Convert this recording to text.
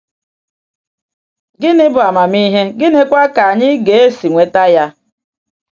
Gịnị bụ amamihe, gịnịkwa ka anyị ga-esi nweta ya?